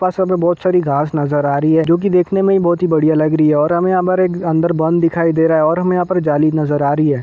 पास हमे बहुत सारी घास नजर आ रही है जो की देखने में ही बहुत ही बढ़िया लग रही है और हमे यहा पर एक बंध दिखाई दे रहा है और हमें यहाँ पर जाली नजर आ रही है।